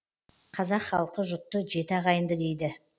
қазақ халқы жұтты жеті ағайынды дейді